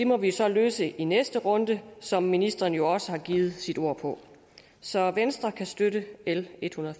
må vi så løse i næste runde som ministeren jo også har givet sit ord på så venstre kan støtte l ethundrede